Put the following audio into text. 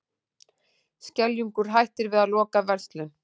Skeljungur hættir við að loka verslun